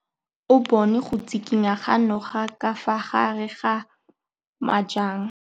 O bone go tshikinya ga noga ka fa gare ga majang.